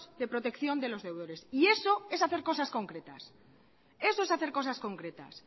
de protección de los deudores y eso es hacer cosas concretas